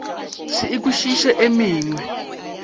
se e kwešiše e mengwe